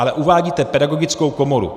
Ale uvádíte Pedagogickou komoru.